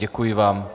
Děkuji vám.